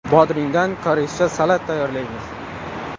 Bodringdan koreyscha salat tayyorlaymiz.